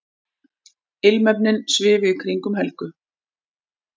Ilmefnin svifu í kringum Helgu.